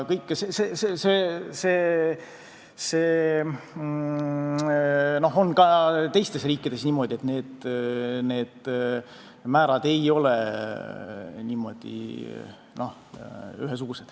See on ka teistes riikides niimoodi, et need määrad ei ole ühesugused.